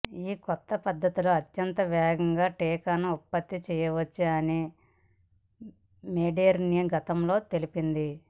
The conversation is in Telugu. ఈ కొత్త పద్ధతిలో అత్యంత వేగంగా టీకాను ఉత్పత్తి చేయవచ్చని మోడెర్నా గతంలో తెలిపింది